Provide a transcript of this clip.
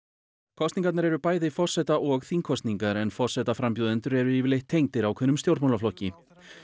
kosningarnar eru bæði forseta og þingkosningar en forsetaframbjóðendur eru yfirleitt tengdir ákveðnum stjórnmálaflokki